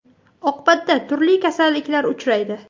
Oqibatda turli kasalliklar urchiydi.